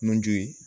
Nunju ye